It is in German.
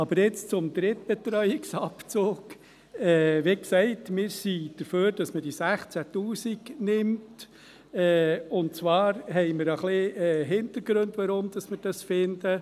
Aber jetzt zum Drittbetreuungsabzug: Wie gesagt, wir sind dafür, dass man diese 16’000 Franken nimmt, und zwar haben wir einige Hintergründe, weshalb wir dies finden.